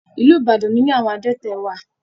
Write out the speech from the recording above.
Ìlú Ibadan ní ilé àwọn adẹ́tẹ̀ wà.